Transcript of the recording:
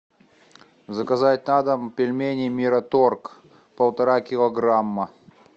заказать на дом пельмени мираторг полтора килограмма